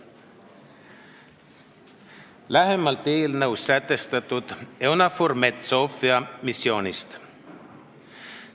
Nüüd lähemalt eelnõus sätestatud EUNAVFOR Med/Sophia missioonist.